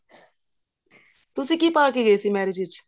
ਤੁਸੀਂ ਕੀ ਪਾਕੇ ਗਏ ਸੀ marriage ਵਿੱਚ